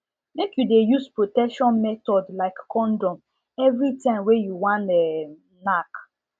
make you de use protection method like condom every time wey u wan um knack